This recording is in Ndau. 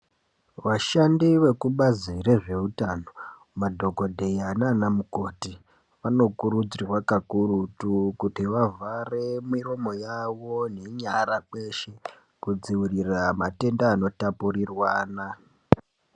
Vashandi vekubazi rezveutano madhokodheya naanamukoti, vanokurudzirwa kakurutu kuti vavhare miromo yavo nenyara kweshe, kudzivirira matenda anotapurirwana.